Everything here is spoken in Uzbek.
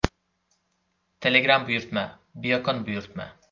Telegram buyurtma : Biokon buyurtma .